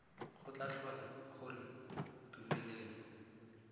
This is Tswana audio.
go tla tlhola gore tumelelo